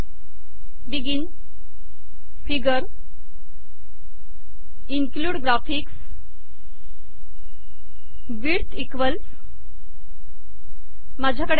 begin figure include graphics width equals माझ्याकडे एक file आहे